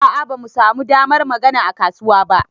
A'a bamu samu damar magana a kasuwa ba.